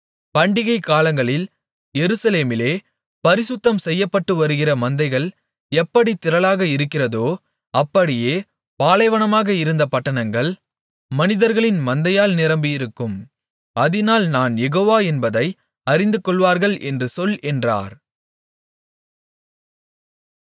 பண்டிகை காலங்களில் எருசலேமிலே பரிசுத்தம்செய்யப்பட்டுவருகிற மந்தைகள் எப்படித் திரளாக இருக்கிறதோ அப்படியே பாலைவனமாக இருந்த பட்டணங்கள் மனிதர்களின் மந்தையால் நிரம்பி இருக்கும் அதினால் நான் யெகோவா என்பதை அறிந்துகொள்வார்கள் என்று சொல் என்றார்